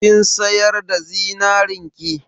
Kin sayar da zinarin ki?